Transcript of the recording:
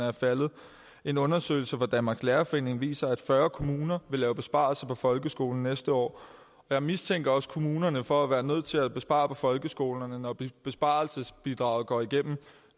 er faldet en undersøgelse fra danmarks lærerforening viser at fyrre kommuner vil lave besparelser på folkeskolen næste år jeg mistænker også kommunerne for at være nødt til at spare på folkeskolerne når besparelsesbidraget går igennem